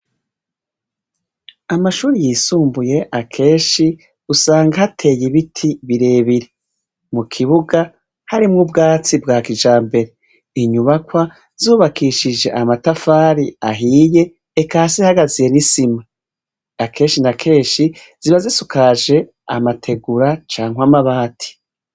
Amashure yisumbuye akenshi usanga hateye ibiti birebire; mukibuga harimwo ubwatsi bwa kijambere; inyubakwa zubakishije amatafari ahiye eka hasi hagaziye n'isima. Akenshi na kenshi ziba zisakaje amategura canke amabati.